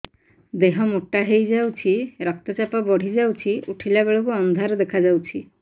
ଦେହ ମୋଟା ହେଇଯାଉଛି ରକ୍ତ ଚାପ ବଢ଼ି ଯାଉଛି ଉଠିଲା ବେଳକୁ ଅନ୍ଧାର ଦେଖା ଯାଉଛି